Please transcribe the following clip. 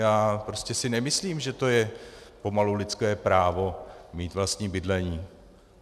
Já si prostě nemyslím, že to je pomalu lidské právo mít vlastní bydlení.